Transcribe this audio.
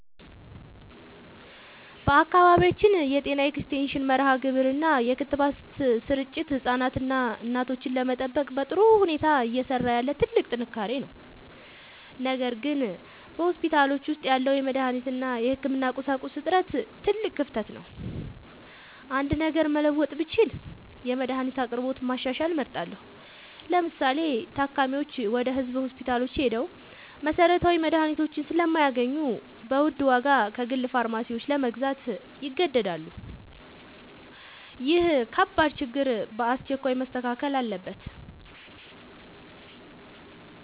በአካባቢያችን የጤና ኤክስቴንሽን መርሃግብር እና የክትባት ስርጭት ህፃናትንና እናቶችን ለመጠበቅ በጥሩ ሁኔታ እየሰራ ያለ ትልቅ ጥንካሬ ነው። ነገር ግን በሆስፒታሎች ውስጥ ያለው የመድኃኒት እና የህክምና ቁሳቁስ እጥረት ትልቅ ክፍተት ነው። አንድ ነገር መለወጥ ብችል የመድኃኒት አቅርቦትን ማሻሻል እመርጣለሁ። ለምሳሌ፤ ታካሚዎች ወደ ህዝብ ሆስፒታሎች ሄደው መሰረታዊ መድኃኒቶችን ስለማያገኙ በውድ ዋጋ ከግል ፋርማሲዎች ለመግዛት ይገደዳሉ። ይህ ከባድ ችግር በአስቸኳይ መስተካከል አለበት።